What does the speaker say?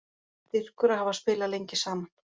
Styrkur að hafa spilað lengi saman